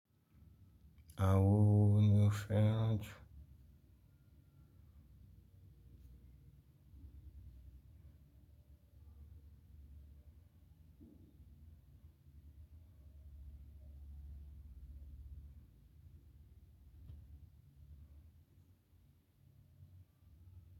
Awọn wo ni o fẹran ju.